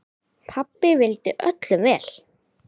Pabbi vildi öllum vel.